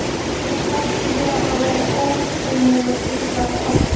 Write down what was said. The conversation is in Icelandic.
Og bætti við að það væri óneitanlega skrýtið, að Ottó